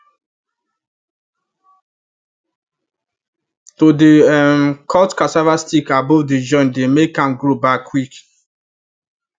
to dey um cut cassava stick above the joint dey make am grow back quick